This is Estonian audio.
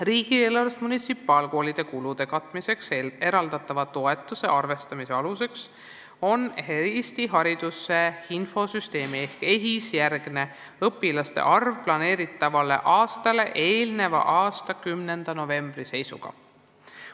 Riigieelarvest munitsipaalkoolide kulude katmiseks eraldatava toetuse arvestamise aluseks on Eesti Hariduse Infosüsteemi ehk EHIS-e järgne õpilaste arv planeeritavale aastale eelneva aasta 10. novembri seisuga.